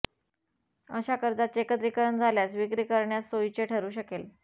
अशा कर्जाचे एकत्रीकरण झाल्यास विक्री करण्यास सोयीचे ठरू शकेल